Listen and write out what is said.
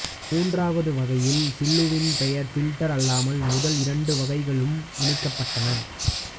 மூன்றாவது வகையில் சில்லுவில் பேயர் ஃபில்டர் அல்லாமல் முதல் இரண்டு வகைகளும் இணைக்கப்பட்டன